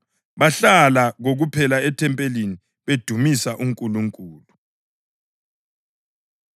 Bahlala kokuphela ethempelini bedumisa uNkulunkulu.